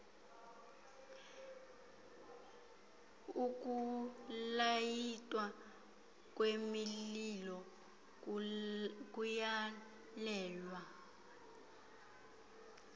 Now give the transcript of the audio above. ukulayitwa kwemililo kuyalelwa